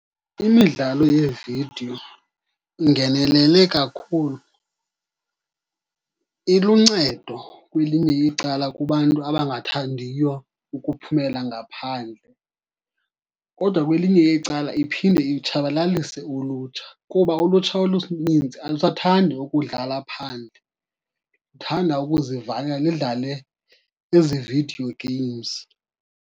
Imidlalo yeevidiyo ingenelele kakhulu. Iluncedo kwelinye icala kubantu abangathandiyo ukuphumela ngaphandle, kodwa kwelinye icala iphinde itshabalalise ulutsha kuba ulutsha oluninzi alusathandi ukudlala phandle, luthanda ukuzivalela lidlale ezi video games.